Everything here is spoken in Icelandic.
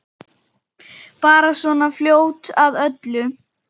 Bara svona fljót að öllu.